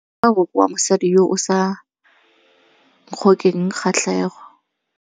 Moaparô wa gagwe ke wa mosadi yo o sa ngôkeng kgatlhegô.